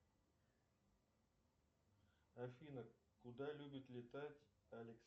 афина куда любит летать